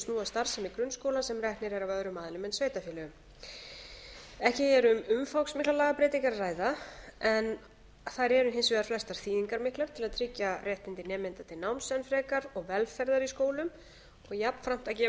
starfsemi grunnskóla sem reknir eru af öðrum aðilum en sveitarfélögum ekki er um umfangsmiklar lagabreytingar að ræða en þær eru hins vegar flestar þýðingarmiklar til að tryggja réttindi nemenda til náms enn frekar og velferðar í skólum og jafnframt að gefa